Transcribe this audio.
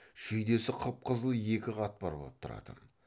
шүйдесі қып қызыл екі қатпар боп тұратын